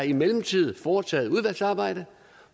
i mellemtiden foretaget et udvalgsarbejde